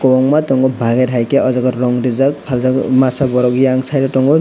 kobangma tongo bagir hai ke o jaga rong rijak paljak masa borok yang side o tongo.